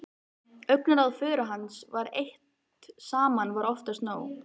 Augnaráð föður hans eitt saman var oftast nóg.